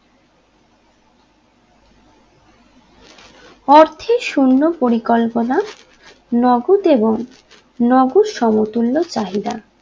অর্থের সৈন্য পরিকল্পনা নগদ এবং নগর সমতুল্য চাহিদা